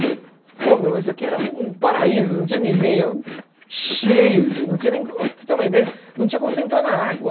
Falei, pô meu, mas isso aqui era um paraíso, não tinha ninguém, eu cheio de gente, não tinha nem, para você ter uma ideia, não tinha como você entrar na água.